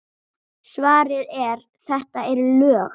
Svarið er: þetta eru lög!